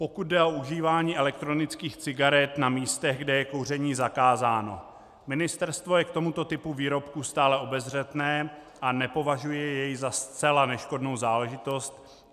Pokud jde o užívání elektronických cigaret na místech, kde je kouření zakázáno, Ministerstvo je k tomuto typu výrobku stále obezřetné a nepovažuje jej za zcela neškodnou záležitost.